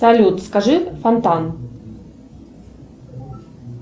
салют скажи фонтан